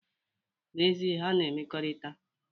N,ezie, ha na-emekọrita.